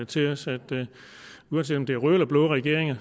til os at uanset om det er røde eller blå regeringer